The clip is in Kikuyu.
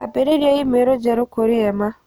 Ambĩrĩria i-mīrū njerũ kũrĩ Emma